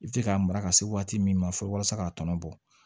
I bɛ se k'a mara ka se waati min ma fɔlɔ walasa k'a tɔnɔ bɔ